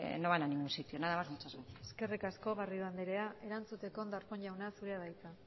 no van a ningún sitio nada más muchas gracias eskerrik asko garrido andrea erantzuteko darpón jauna zurea da hitza